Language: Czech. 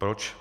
Proč?